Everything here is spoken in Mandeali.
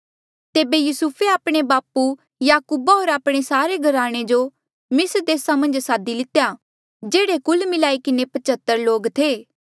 तेबे युसुफे आपणे बापू याकूबा होर आपणे सारे घराने जो मिस्र देसा मन्झ सादी लितेया जेह्ड़े कुल मिलाई किन्हें पचेह्त्र लोक थे